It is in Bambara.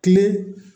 Kile